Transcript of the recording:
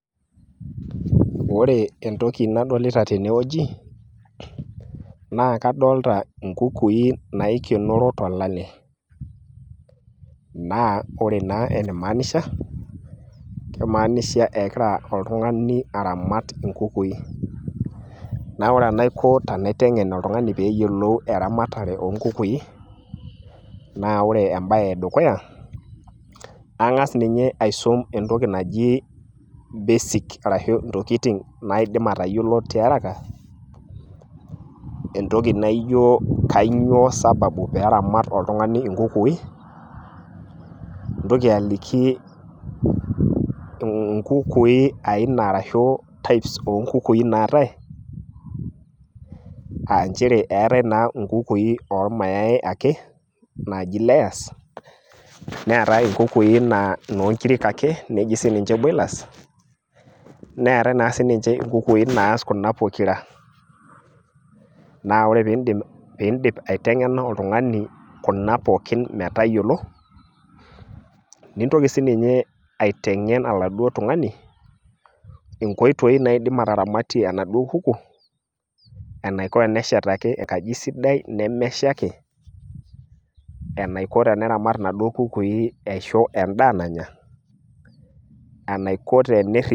ore entoki nadolita tene wueji naa kadoolta inkukui, naikenoro tolale, naa ore taa enaimaanisha, kimaanisha egira oltungani aramat inkukui, naa ore enaiko tenaitengen oltungani pee eyiolou eramatare oo nkukuui, naa ore ene dukuya, ang'as ninye aisum entoki naji basic arashu intokitin naidim atayiolo tiaraka, entoki naijo kainyioo sababu pee eramat oltungani inkukui, nintoliki aliki inkuki types arashu inkukui naatae, eetae naa inkukui ormayai ake naaji layers neetae naa inkukui o nkirik ake aaji boilers netaae naa naa sii ninche inkukui naas kuna pokira.na ore pee idip aitengena oltungani kuna pookin metayiolo, nintoki aitengen oladuoo tungani ,inkoitoi naaramatie enaduoo kuku, enaiko teneshataki enkaji sidai nemeshaiki, enaiko tene teneramat inaduoo kukui aisho edaa nanya. enaiko teniri.